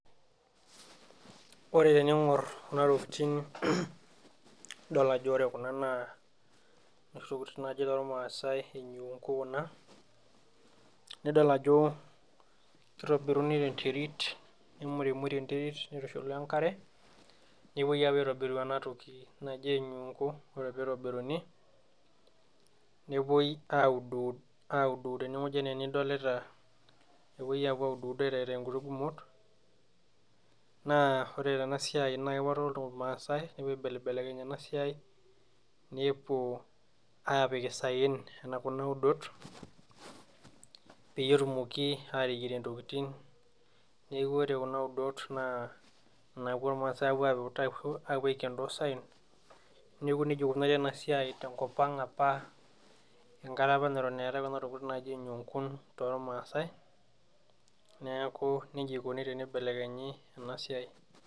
Ore tening'or kuna tokiting idol ajo ore kuna naa noshi tokiting naji tormaasai enyungu kuna, nidol ajo kitobiruni tenterit nemurimuri enterit nitushuli enkare, nepoi apo aitobiru enatoki naji enyungu. Ore pitobiruni, nepoi audwud tenewoji enaa enidolita, nepoi apuo audwud aitayu nkuti gumot, naa ore tenasiai na kepoito irmaasai nepuo aibelekeny enasiai, nepuo apik isaen nena kuna udot, peyie etumoki ateyierie ntokiting. Neeku ore kuna udot naa inapuo irmaasai apuo aiken tosaen, neeku nejia ikunari enasiai tenkop ang apa enkata apa neton eetae kuna tokiting naji enyungun tormaasai, neeku nejia ikoni tenibelekenyi enasiai.